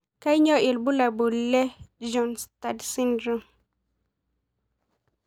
Kanyio ibulabul le Bjornstad syndrome?